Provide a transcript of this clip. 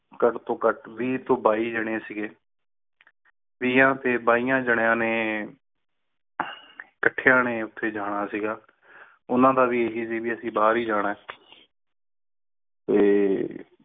ਘਟ ਤੋਂ ਘਟ ਵੀਹ ਤੋਂ ਬਾਈ ਜਣੇ ਸੀਗੇ ਵਿਆਂ ਤੇ ਬਾਈਆਂ ਜੰਨੀਆ ਨੇ ਕੱਠਿਆਂ ਨੇ ਉਥੇ ਜਾਣਾ ਸੀਗਾ ਉਨ੍ਹਾਂ ਦਾ ਵੀ ਏਹੀ ਸੀ ਵੀ ਅੱਸੀ ਬਾਹਿਰ ਹੀ ਜਾਣਾ ਹੈ ਤੇ